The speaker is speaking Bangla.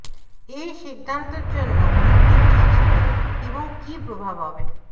এই সিদ্ধান্তের জন্য ভিত্তি কী ছিল এবং কী প্রভাব হবে